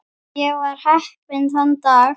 Ég var heppinn þann dag.